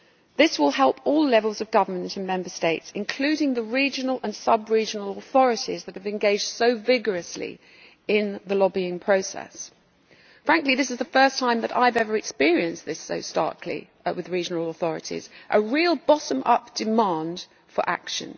This will help all levels of government in Member States, including the regional and sub regional authorities that have engaged so vigorously in the lobbying process. Frankly, this is the first time that I have ever experienced this so starkly with regional authorities a real bottom up demand for action.